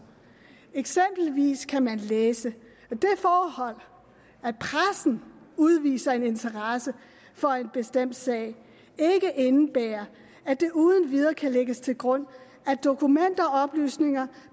eksempelvis kan man læse at det forhold at pressen udviser en interesse for en bestemt sag ikke indebærer at det uden videre kan lægges til grund at dokumenter og oplysninger